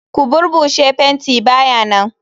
Ko burbushi fenti ba ya nan.